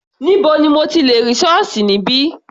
Níbo ni mo ti lẹ̀ rí ṣọ́ọ̀ṣì níbí?